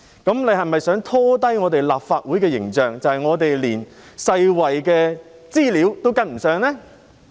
譚議員是否想拖低立法會的形象，彷彿我們連世衞的資料都跟不上呢？